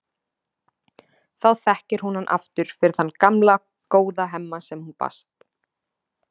Þá þekkir hún hann aftur fyrir þann gamla, góða Hemma sem hún bast.